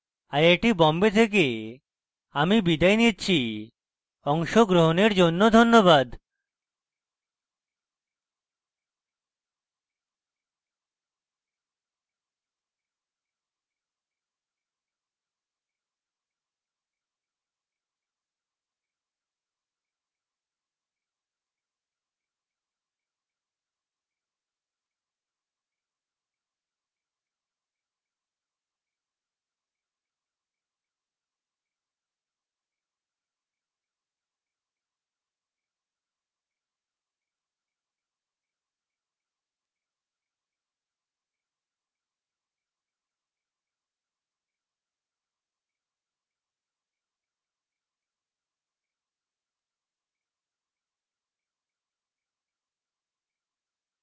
I I T Bombay থেকে আমি বিদায় নিচ্ছি অংশগ্রহনের জন্য ধন্যবাদ